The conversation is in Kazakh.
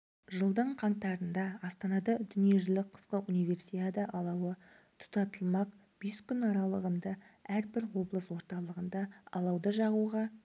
жылдың қаңтарында астанада дүниежүзілік қысқы универсиада алауы тұтатылмақ бес күн аралығында әрбір облыс орталығында алауды жағуға